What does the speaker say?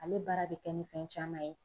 Ale baara be kɛ ni fɛn caman ye